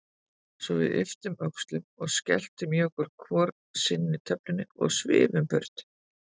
Svo við ypptum öxlum og skelltum í okkur hvor sinni töflunni og svifum burt.